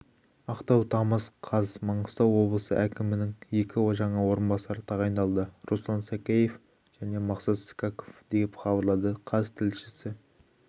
ақтау тамыз қаз маңғыстау облысы әкімінің екі жаңа орынбасары тағайындалды руслан сакеев және мақсат скаков деп хабарлады қаз тілшісі